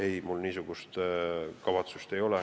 Ei, mul niisugust kavatsust ei ole.